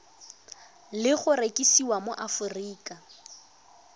le go rekisiwa mo aforika